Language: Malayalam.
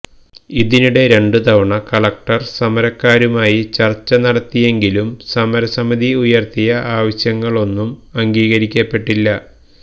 ഇതിനിടെ രണ്ട് തവണ കളക്ടര് സമരക്കാരുമായി ചര്ച്ച നടത്തിയെങ്കിലും സമരസമിതി ഉയര്ത്തിയ ആവശ്യങ്ങളൊന്നും അംഗീകരിക്കപ്പെട്ടില്ല